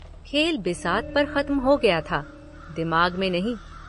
खेल बिसात पर खत्म हो गया था, दिमाग में नहीं।